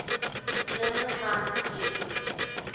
german high seas